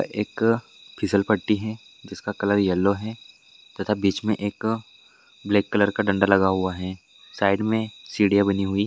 एक फिसल पट्टी हैं जिसका कलर येलो है तथा बीच में एक ब्लैक कलर का डंडा लगा हुआ हैं साइड में सीडियां बानी हुई--